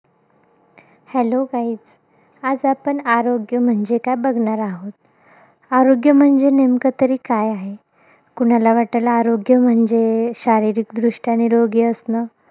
Hello guys आज आपण आरोग्य म्हणजे काय बघणार आहोत. आरोग्य म्हणजे नेमकं तरी काय आहे? कुणाला वाटेल आरोग्य म्हणजे, शारीरिकदृष्ट्या निरोगी असणं.